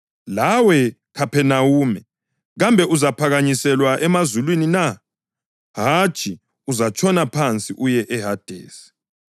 Lawe, Khaphenawume, kambe uzaphakanyiselwa emazulwini na? Hatshi, uzatshona phansi uye eHadesi.